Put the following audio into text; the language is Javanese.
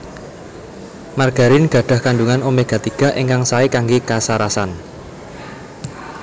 Margarin gadhah kandhungan omega tiga ingkang saé kanggé kasarasan